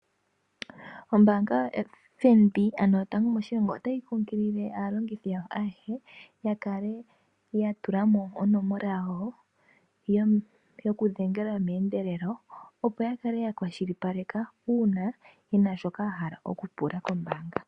Ombaanga yoFNB ano yotango moshilongo, otayi nkunkilile aalongithe yawo ayehe ya kale ya tulamo onomola yawo yokudhengela meendelelo, opo ya kale ya kwashilipaleka una yena shoka ya hala oku pula kombaanga.